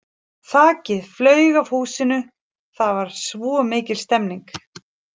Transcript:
Þakið flaug af húsinu það var svo mikil stemming.